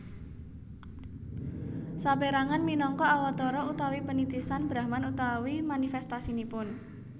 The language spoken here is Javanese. Saperangan minangka Awatara utawi penitisan Brahman utawi manifestasinipun